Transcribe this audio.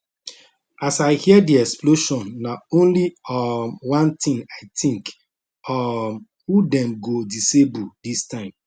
as i hear di explosion na only um one tin i think um who dem go disable dis time